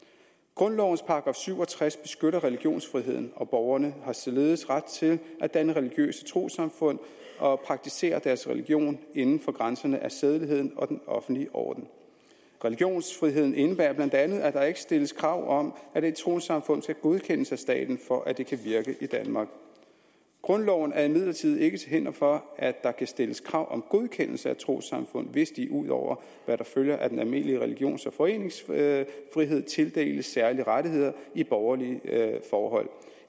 grundlovens § syv og tres beskytter religionsfriheden og borgerne har således ret til at danne religiøse trossamfund og praktisere deres religion inden for grænserne af sædeligheden og den offentlige orden religionsfriheden indebærer bla at der ikke stilles krav om at et trossamfund skal godkendes af staten for at det kan virke i danmark grundloven er imidlertid ikke til hinder for at der kan stilles krav om godkendelse af trossamfund hvis de ud over hvad der følger af den almindelige religions og foreningsfrihed tildeles særlige rettigheder i borgerlige forhold